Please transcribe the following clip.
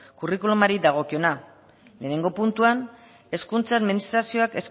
curriculumari dagokiona lehenengo puntuan hezkuntza administrazioak